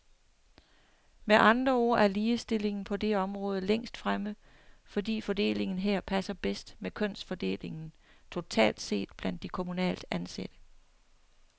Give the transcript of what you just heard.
Med andre ord er ligestillingen på det område længst fremme, fordi fordelingen her passer bedst med kønsfordelingen totalt set blandt de kommunalt ansatte.